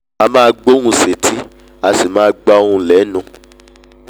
a máa gbóhùn sétí a sì máa gba ohùn lẹ́nù